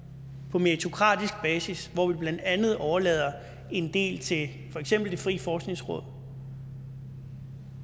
på meritokratisk basis hvor vi blandt andet overlader en del til for eksempel det frie forskningsråd